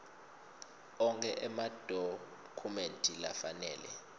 onkhe emadokhumenti lafanele